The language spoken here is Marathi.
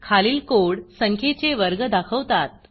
खालील कोड संख्येचे वर्ग दाखवतात